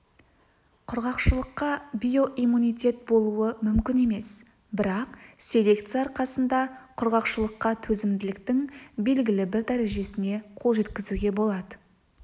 құрғақшылыққа биоиммунитет болуы мүмкін емес бірақ селекция арқасында құрғақшылыққа төзімділіктің белгілі бір дәрежесіне қол жеткізуге болады